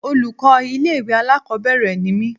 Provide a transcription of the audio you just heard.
Olùkọ́ ilé ìwé alákòbẹ̀rẹ̀ ni mí.